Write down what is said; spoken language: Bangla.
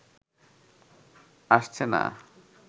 আসছে না